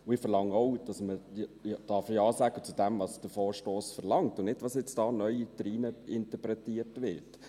Ich verlange auch, dass man Ja sagen darf zu dem, was der Vorstoss verlangt, und nicht zu dem, was da neu hineininterpretiert wird.